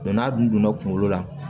n'a dunna kunkolo la